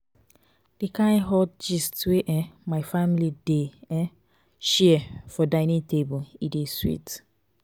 di kain hot gist wey um my family dey um share for dining table e dey sweet.